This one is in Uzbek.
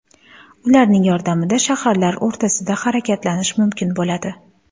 Ularning yordamida shaharlar o‘rtasida harakatlanish mumkin bo‘ladi.